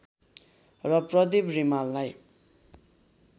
र प्रदीप रिमाललाई